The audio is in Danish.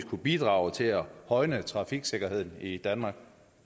kunne bidrage til at højne trafiksikkerheden i danmark